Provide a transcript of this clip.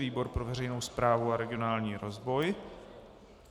Výbor pro veřejnou správu a regionální rozvoj.